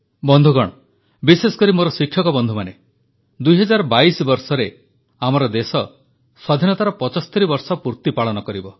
ବନ୍ଧୁଗଣ ବିଶେଷକରି ମୋର ଶିକ୍ଷକବନ୍ଧୁମାନେ 2022 ବର୍ଷରେ ଆମର ଦେଶ ସ୍ୱାଧୀନତାର 75 ବର୍ଷ ପୂର୍ତ୍ତି ପାଳନ କରିବ